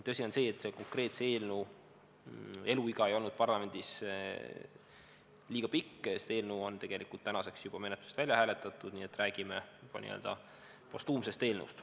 Tõsi on see, et selle konkreetse eelnõu eluiga ei olnud parlamendis liiga pikk, eelnõu on tänaseks juba menetlusest välja hääletatud, nii et räägime juba n-ö postuumsest eelnõust.